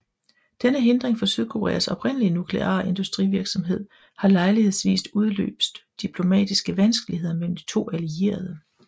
Denne hindring for Sydkoreas oprindelige nukleare industrivirksomhed har lejlighedsvis udløst diplomatiske vanskeligheder mellem de to allierede